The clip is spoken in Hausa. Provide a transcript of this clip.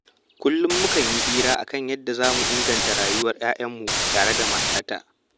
Kullum mukan yi hira a kan yadda za mu inganta rayuwar 'ya'ayanmu tare da matata